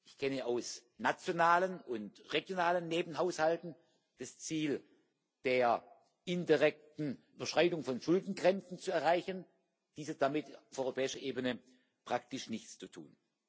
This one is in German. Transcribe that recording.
Ich kenne aus nationalen und regionalen Nebenhaushalten das Ziel der indirekten Beschreibung von Schuldengrenzen zu erreichen dies hat auf Europäische Ebene damit praktisch nichts zu tun.